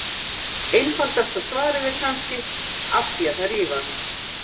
Einfaldasta svarið er kannski: Af því að þær þrífast!